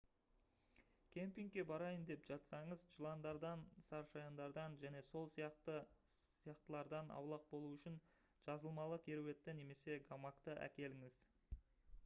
кемпингке барайын деп жатсаңыз жыландардан сарышаяндардан және сол сияқтылардан аулақ болу үшін жазылмалы кереуетті немесе гамакты әкеліңіз